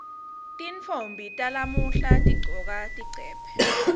tintfombi talamuhla tigcoka tigcebhe